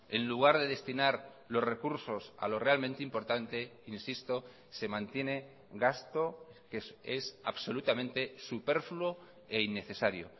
en lugar de destinar los recursos a lo realmente importante insisto se mantiene gasto que es absolutamente superfluo e innecesario